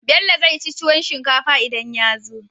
Bello zai ci tuwon shinkafa idan yazo